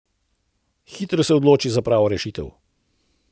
Hitro se odloči za pravo rešitev.